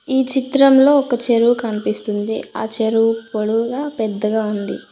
ఈ చిత్రంలో ఒక చెరువు కన్పిస్తుంది ఆ చెరువు పొడవుగా పెద్దగా ఉంది.